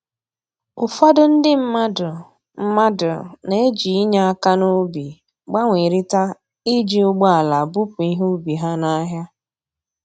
Ụfọdụ ndị mmadụ mmadụ na-eji inye aka n'ubi gbanwerịta iji ụgbọala bupu ihe ubi ha n'ahịa